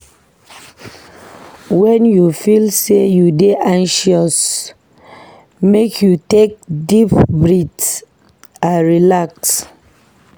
Wen you feel sey you dey anxious, make you take deep breath and relax.